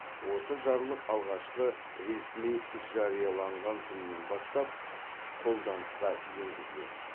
осы жарлық алғашқы ресми жарияланған күнінен бастап қолданысқа енгізіледі